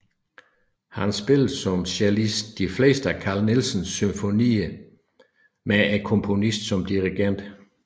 Han spillede som cellist de fleste af Carl Nielsens symfonier med komponisten som dirigent